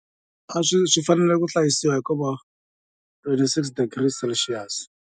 A swi swi fanele ku hlayisiwa hikuva twenty six degrees celsius.